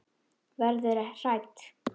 Verður hrædd.